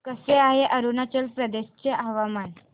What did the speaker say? कसे आहे अरुणाचल प्रदेश चे हवामान